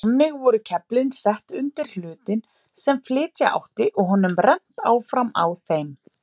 Þannig voru keflin sett undir hlutinn sem flytja átti og honum rennt áfram á þeim.